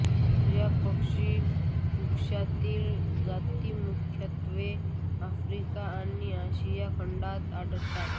या पक्षिकुळातील जाती मुख्यत्वे आफ्रिका आणि आशिया खंडांत आढळतात